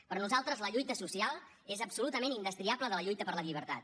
per nosaltres la lluita social és absolutament indestriable de la lluita per la llibertat